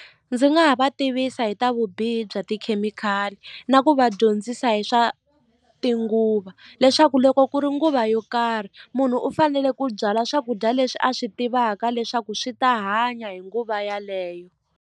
Ndzi nga ha va tivisa hi ta vubihi bya tikhemikhali na ku va dyondzisa hi swa tinguva leswaku loko ku ri nguva yo karhi munhu u fanele ku byala swakudya leswi a swi tivaka leswaku swi ta hanya hi nguva yeleyo.